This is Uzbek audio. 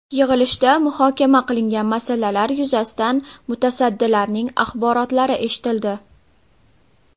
Yig‘ilishda muhokama qilingan masalalar yuzasidan mutasaddilarning axborotlari eshitildi.